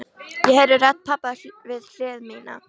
Ég heyri rödd pabba við hlið mína.